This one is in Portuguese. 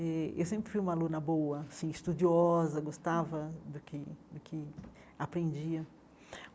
Eh eu sempre fui uma aluna boa, assim estudiosa, gostava do que do que aprendia.